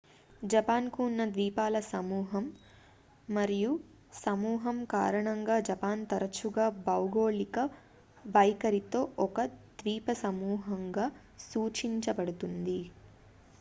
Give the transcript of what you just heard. """Japan కు ఉన్న ద్వీపాల సమూహం/సమూహం కారణంగా జపాన్ తరచుగా భౌగోళిక వైఖరితో ఒక """ద్వీపసమూహం""""గా సూచించబడుతుంది""